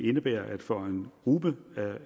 indebærer at for en gruppe